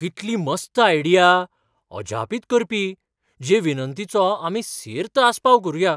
कितली मस्त आयडिया , अजापीत करपी जे विनंतीचो आमी सेर्त आस्पाव करूया.